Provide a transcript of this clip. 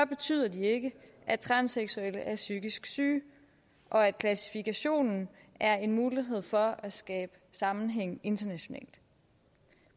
betyder det ikke at transseksuelle er psykisk syge og at klassifikationen er en mulighed for at skabe sammenhæng internationalt